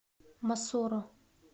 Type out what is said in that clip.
мосоро